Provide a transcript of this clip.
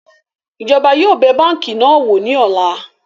Ìjọba yóò bẹ̀ báńkì náà wò ní ọ̀la